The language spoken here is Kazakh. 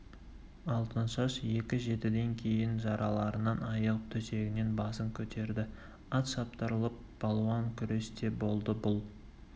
алтыншаш екі жетіден кейін жараларынан айығып төсегінен басын көтерді ат шаптырылып балуан күрес те болды бұл